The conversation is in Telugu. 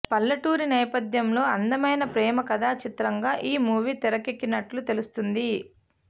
పల్లెటూరి నేపథ్యంలో అందమైన ప్రేమ కథా చిత్రంగా ఈ మూవీ తెరకెక్కినట్టు తెలుస్తుంది